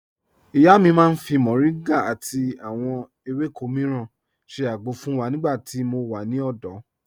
Ìyá mi màá n fi Moringa àti àwọn èwéko míràn ṣẹ́ àgbọ̀ fun wa nígbà tí mò wà ní òdò.